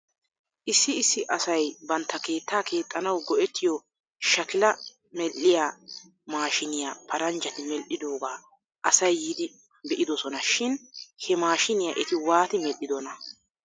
Issi issi asay bantta keettaa keexxanaw go'ettiyoo shakilaa medhdhiyaa maashiiniyaa paranjjati medhdhidogaa asay yiidi be'idosona shin he maashiiniyaa eti waati medhdhidonaa?